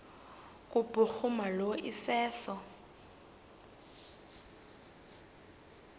kubhuruma lo iseso